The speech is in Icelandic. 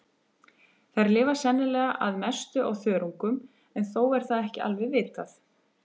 Þær lifa sennilega að mestu á þörungum en þó er það ekki alveg vitað.